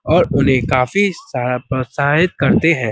और उन्हें काफी सहाय प्रोत्साहित करते हैं।